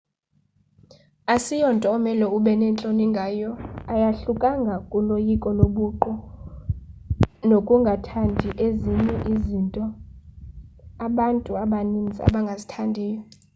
asiyonto omele ube nentloni ngayo ayahlukanga kuloyiko lobuqu nokungathandii ezinye izinto abantu abaninzi abangazithandiyo